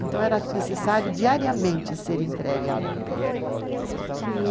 Então era necessário diariamente ser entregue a roupa. E,